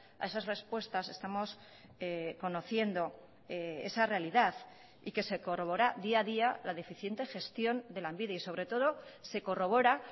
a esas respuestas estamos conociendo esa realidad y que se corrobora día a día la deficiente gestión de lanbide y sobre todo se corrobora